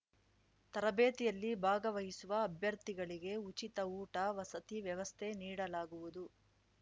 ತರಬೇತಿಯಲ್ಲಿ ಭಾಗವಹಿಸುವ ಅಭ್ಯರ್ಥಿಗಳಿಗೆ ಉಚಿತ ಊಟ ವಸತಿ ವ್ಯವಸ್ಥೆ ನೀಡಲಾಗುವುದು